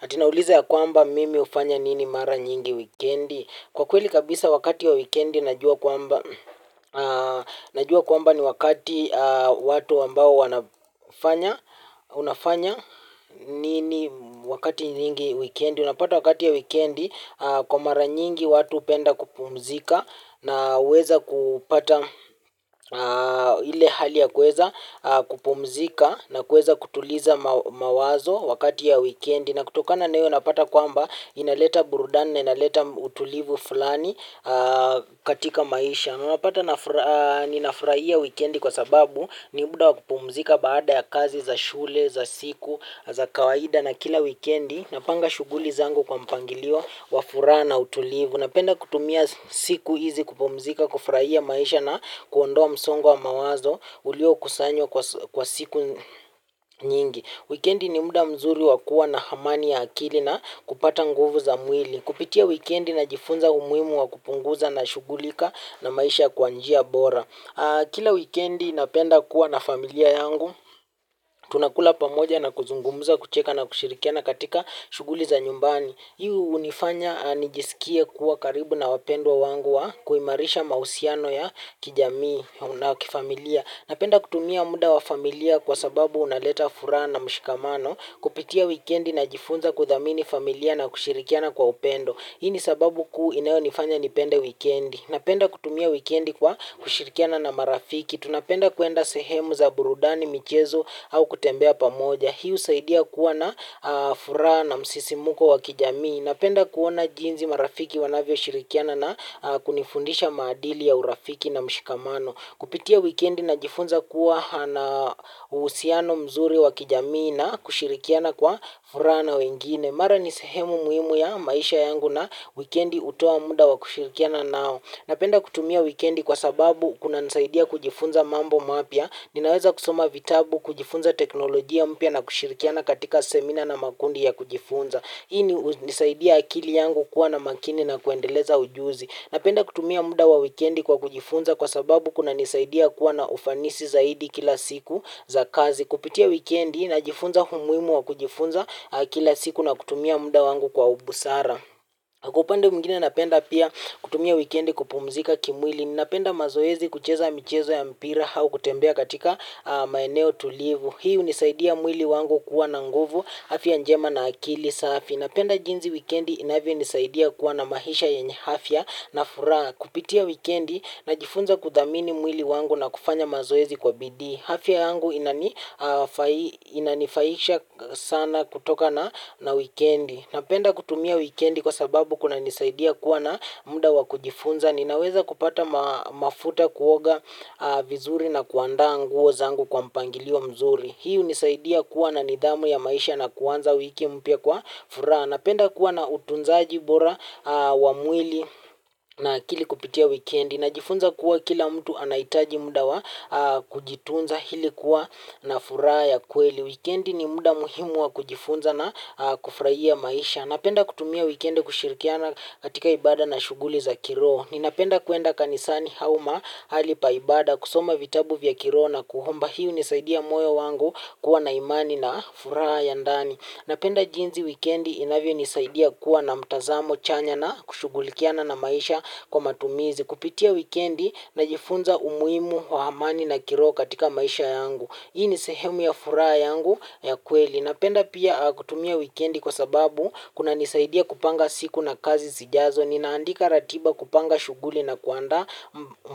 Ati nauliza ya kwamba mimi hufanya nini mara nyingi wikendi. Kwa kweli kabisa wakati wa wikendi najua kwamba najua kwamba ni wakati watu ambao wanafanya unafanya nini wakati nyingi wikendi. Unapata wakati ya wikendi kwa mara nyingi watu hupenda kupumzika na huweza kupata ile hali ya kuweza kupumzika na kuweza kutuliza mawazo wakati ya wikendi. Na kutokana na hio unapata kwamba inaleta burudani na inaleta utulivu fulani katika maisha. Unapata ninafurahia wikendi kwa sababu ni muda wa kupumzika baada ya kazi za shule, za siku, za kawaida na kila wikendi. Napanga shughuli zangu kwa mpangilio, wa furaha na utulivu. Napenda kutumia siku hizi kupumzika, kufurahia maisha na kuondoa msongo wa mawazo uliokusanywa kwa siku nyingi. Wikendi ni muda mzuri wa kuwa na amani ya akili na kupata nguvu za mwili. Kupitia wikendi najifunza umuhimu wa kupunguza nashughulika na maisha kwa njia bora. Kila wikendi napenda kuwa na familia yangu. Tunakula pamoja na kuzungumza, kucheka na kushirikiana katika shughuli za nyumbani. Hii hunifanya nijisikie kuwa karibu na wapendwa wangu wa kuimarisha mahusiano ya kijamii na kifamilia. Napenda kutumia muda wa familia kwa sababu unaleta furaha na mshikamano kupitia wikendi najifunza kudhamini familia na kushirikiana kwa upendo. Hii ni sababu kuu inayonifanya nipende wikendi. Napenda kutumia wikendi kwa kushirikiana na marafiki. Tunapenda kuenda sehemu za burudani michezo au kutembea pamoja. Hii husaidia kuwa na furaha na msisimuko wa kijamii. Napenda kuona jinsi marafiki wanavyoshirikiana na kunifundisha maadili ya urafiki na mshikamano. Kupitia wikendi najifunza kuwa ana uhusiano mzuri wa kijamii na kushirikiana kwa furaha na wengine. Mara ni sehemu muhimu ya maisha yangu na wikendi hutoa muda wa kushirikiana nao. Napenda kutumia wikendi kwa sababu kunanisaidia kujifunza mambo mapya. Ninaweza kusoma vitabu kujifunza teknolojia mpya na kushirikiana katika seminar na makundi ya kujifunza. Hii ni hunisaidia akili yangu kuwa na makini na kuendeleza ujuzi. Napenda kutumia muda wa wikendi kwa kujifunza kwa sababu kunanisaidia kuwa na ufanisi zaidi kila siku za kazi. Kupitia wikendi najifunza umuhimu wa kujifunza kila siku na kutumia muda wangu kwa ubusara. Kwa upande mwingine napenda pia kutumia wikendi kupumzika kimwili. Napenda mazoezi kucheza michezo ya mpira au kutembea katika maeneo tulivu. Hii hunisaidia mwili wangu kuwa na nguvu afya njema na akili safi napenda jinsi wikendi inavyonisaidia kuwa na maisha yenye afya na furaha kupitia wikendi najifunza kudhamini mwili wangu na kufanya mazoezi kwa bidii. Afya yangu inanifaisha sana kutoka na wikendi. Napenda kutumia wikendi kwa sababu kunanisaidia kuwa na muda wa kujifunza. Ninaweza kupata mafuta kuoga vizuri na kuandaa nguo zangu kwa mpangilio mzuri. Hii hunisaidia kuwa na nidhamu ya maisha na kuanza wiki mpya kwa furaha. Napenda kuwa na utunzaji bora wa mwili na akili kupitia wikendi. Najifunza kuwa kila mtu anahitaji muda wa kujitunza hili kuwa na furaha ya kweli. Wikendi ni muda muhimu wa kujifunza na kufurahia maisha. Napenda kutumia wikendi kushirikiana katika ibada na shughuli za kiroho. Ninapenda kuenda kanisani au mahali pa ibada kusoma vitabu vya kiroho na kuomba. Hii hunisaidia moyo wangu kuwa na imani na furaha ya ndani. Napenda jinsi wikendi inavyonisaidia kuwa na mtazamo chanya na kushughulikiana na maisha kwa matumizi kupitia wikendi najifunza umuhimu wa amani na kiroho katika maisha yangu. Hii ni sehemu ya furaha yangu ya kweli napenda pia kutumia wikendi kwa sababu kunanisaidia kupanga siku na kazi sijazo ninaandika ratiba kupanga shughuli na kuandaa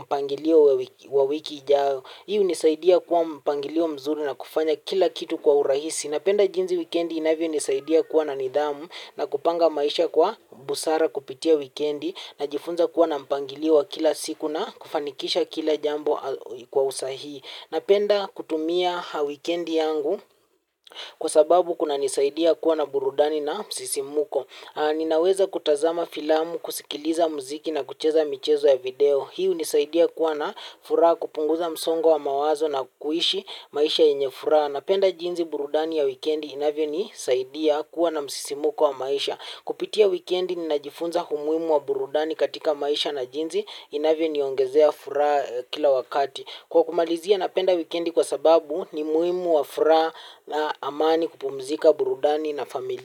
mpangilio wa wiki ijayo. Hii hunisaidia kuwa mpangilio mzuri na kufanya kila kitu kwa urahisi. Napenda jinsi wikendi inavyonisaidia kuwa na nidhamu na kupanga maisha kwa busara kupitia wikendi najifunza kuwa na mpangilio wa kila siku na kufanikisha kila jambo kwa usahii. Napenda kutumia wikendi yangu kwa sababu kunanisaidia kuwa na burudani na msisimuko. Ninaweza kutazama filamu, kusikiliza muziki na kucheza michezo ya video. Hii hunisaidia kuwa na furaha kupunguza msongo wa mawazo na kuishi maisha yenye furaha. Napenda jinsi burudani ya wikendi inavyonisaidia kuwa na msisimuko wa maisha. Kupitia wikendi ninajifunza umuhimu wa burudani katika maisha na jinsi inavyoniongezea furaha kila wakati. Kwa kumalizia napenda wikendi kwa sababu ni muhimu wa furaha na amani kupumzika burudani na familia.